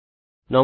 নমস্কার